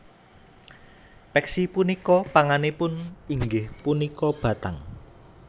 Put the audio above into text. Peksi punika pangananipun inggih punika bathang